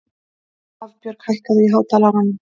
Hafbjörg, hækkaðu í hátalaranum.